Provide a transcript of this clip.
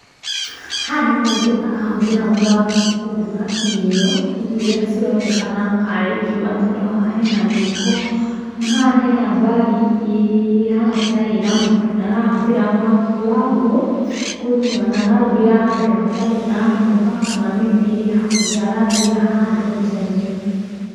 Haha nĩ mũndũ arahũthĩra mwaki kũruga irio, irio irĩa cironekana tarĩ ngima tondũ haha hena mũiko na haha he na bag ĩ hana ta ĩ na mũtu, na arahũthĩra mwaki wa ngũ kũruga. Na ararugĩra handũ hatari na nyũmba kana mĩtĩ ĩ hakuhĩ, ararugĩra handũ nja.